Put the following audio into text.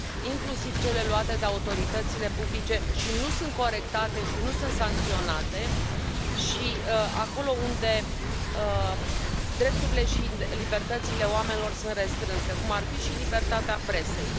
inclusiv cele luate de autoritățile publice și nu sunt corectate și nu sunt sancționate și acolo unde drepturile și libertățile oamenilor sunt restrânse, cum ar fi și libertatea presei.